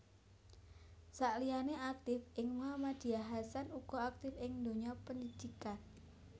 Sakliyane aktif ing Muhammadiyah Hasan uga aktif ing donya pendhidikan